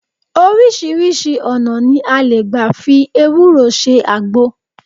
Oríṣiríṣi ọ̀nà ni a lè gbà fi ewúro ṣe àgbo